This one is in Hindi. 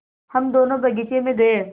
हम दोनो बगीचे मे गये